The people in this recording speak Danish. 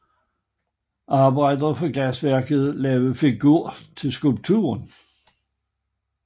Arbejdere fra glasværket lagde figur til skulpturen